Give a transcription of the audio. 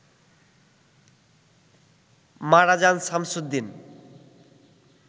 মারা যান শামসুদ্দিন